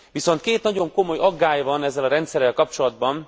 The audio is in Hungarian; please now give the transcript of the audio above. Viszont két nagyon komoly aggály van ezzel a rendszerrel kapcsolatban.